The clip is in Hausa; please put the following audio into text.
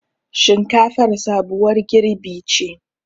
Shinkafar sabuwar girɓi ce